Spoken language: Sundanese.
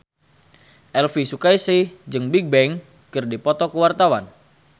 Elvy Sukaesih jeung Bigbang keur dipoto ku wartawan